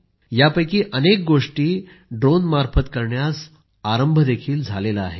यामध्ये अनेक गोष्टी ड्रोनमार्फत करण्यास प्रारंभही झाला आहे